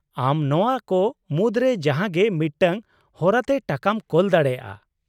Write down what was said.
ᱟᱢ ᱱᱚᱶᱟ ᱠᱚ ᱢᱩᱫᱽᱨᱮ ᱡᱟᱦᱟᱸᱜᱮ ᱢᱤᱫᱴᱟᱝ ᱦᱚᱨᱟᱛᱮ ᱴᱟᱠᱟᱢ ᱠᱳᱞ ᱫᱟᱲᱮᱭᱟᱜᱼᱟ ᱾